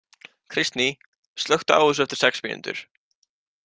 Kristný, slökktu á þessu eftir sex mínútur.